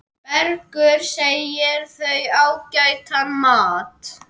Bergur segir þau ágætan mat.